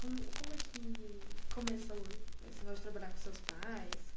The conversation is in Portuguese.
Como como é que começou esse negócio de trabalhar com os seus pais?